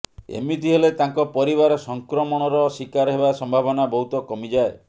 ଏମିତି ହେଲେ ତାଙ୍କ ପରିବାର ସଂକ୍ରମଣର ଶିକାର ହେବା ସମ୍ଭାବନା ବହୁତ କମିଯାଏ